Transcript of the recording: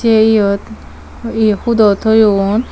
sey eyot ye hudo toyon.